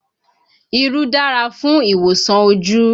Irú dára fún ìwòsàn ojú